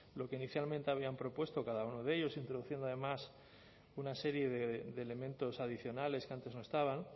lo que inicialmente habían propuesto cada uno de ellos introduciendo además una serie de elementos adicionales que antes no estaban